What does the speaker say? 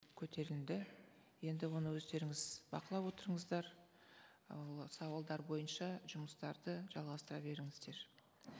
көтерілді енді оны өздеріңіз бақылап отырыңыздар ол сауалдар бойынша жұмыстарды жалғастыра беріңіздер